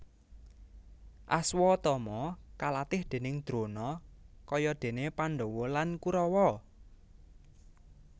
Aswatama kalatih déning Drona kaya dene Pandhawa lan Kurawa